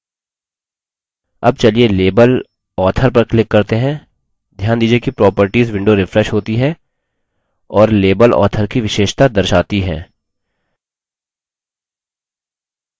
अब चलिए label author पर click करते हैं ध्यान दीजिये कि properties window refreshes होती है और label author की विशेषता दर्शाती हैं